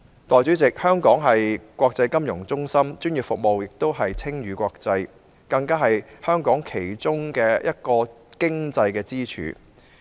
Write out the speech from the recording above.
代理主席，香港是國際金融中心，專業服務不單稱譽國際，更是香港其中一個經濟支柱。